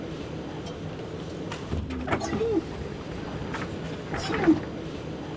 Og ég glenni upp augun til að sjá hann spýta hóstinu.